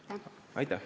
Aitäh!